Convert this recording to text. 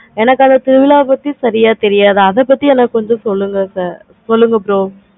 எனக்கு அந்த திருவிழா பத்தி சரியா தெரியாது. அத பத்தி எனக்கு கொஞ்சம் சரியா தெரியாது. அத பத்தி எனக்கு கொஞ்சம் சொல்லுங்க sir கொஞ்சம் சொல்லுங்க bro